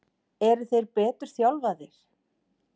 Eru þeir betur þjálfaðir?